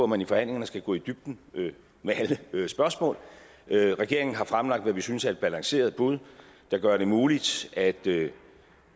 man i forhandlingerne skal gå i dybden med alle spørgsmål regeringen har fremlagt hvad vi synes er et balanceret bud der gør det muligt at